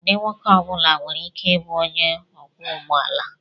Ụdị nwoke ọ bụla nwere ike ịbụ onye ọkwọ ụgbọ ala.